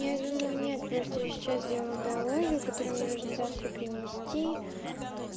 я думаю нет просто я сейчас делаю биологию которую мне нужно завтра принести